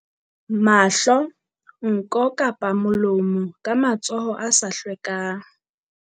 Mahlo, nko kapa molo mo ka matsoho a sa hlwekang.